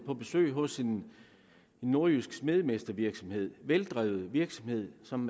på besøg hos en nordjysk smedemestervirksomhed en veldrevet virksomhed som